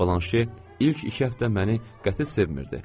Balanşe ilk iki həftə məni qəti sevmiridi.